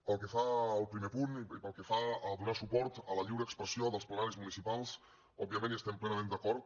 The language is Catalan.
pel que fa al primer punt i pel que fa a donar suport a la lliure expressió dels plenaris municipals òbviament hi estem plenament d’acord